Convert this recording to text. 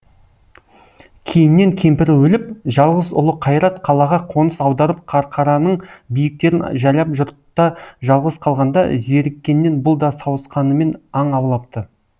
кейіннен кемпірі өліп жалғыз ұлы қайрат қалаға қоныс аударып қарқараның биіктерін жайлап жұртта жалғыз қалғанда зеріккеннен бұл да сауысқанымен аң аулапты